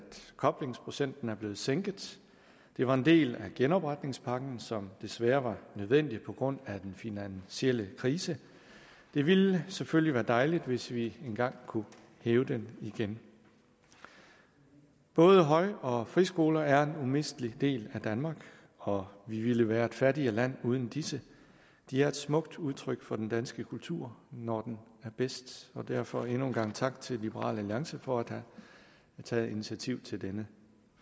koblingsprocenten er blevet sænket det var en del af genopretningspakken som desværre var nødvendig på grund af den finansielle krise det ville selvfølgelig være dejligt hvis vi engang kunne hæve den igen både høj og friskoler er umistelig del af danmark og vi ville være et fattigere land uden disse de er smukt udtryk for den danske kultur når den er bedst og derfor endnu en gang tak til liberal alliance for at have taget initiativ til denne